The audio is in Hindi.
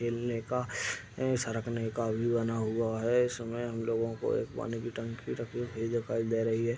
खेलने का ये सरकने का भी बना हुआ है। इसमें हम लोगो को एक पानी की टंकी रखी हुई दिखाई दे रही है।